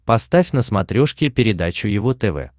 поставь на смотрешке передачу его тв